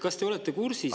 Kas te olete kursis …